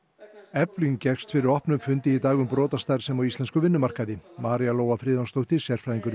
efling gekkst fyrir opnum fundi í dag um brotastarfsemi á íslenskum vinnumarkaði María Lóa Friðjónsdóttir sérfræðingur